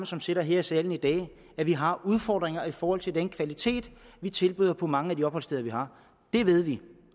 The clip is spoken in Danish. som sidder her i salen i dag at vi har udfordringer i forhold til den kvalitet vi tilbyder på mange af de opholdssteder vi har det ved vi